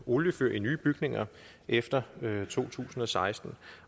oliefyr i nye bygninger efter to tusind og seksten